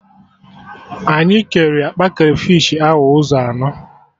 Anyị kere akpa krafish ahụ ụzọ anọ